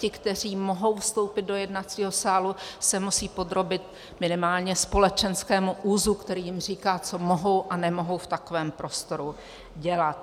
Ti, kteří mohou vstoupit do jednacího sálu, se musí podrobit minimálně společenskému úzu, který jim říká, co mohou a nemohou v takovém prostoru dělat.